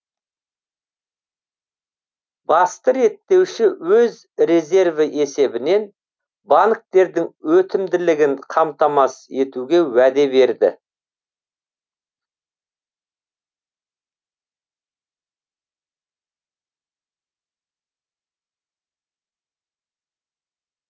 басты реттеуші өз резерві есебінен банктердің өтімділігін қамтамасыз етуге уәде берді